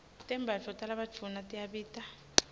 tembatfo talabadvuna tiyabita